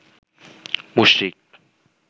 মুশরিক